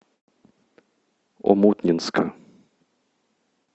омутнинска